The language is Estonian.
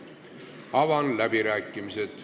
Avan läbirääkimised.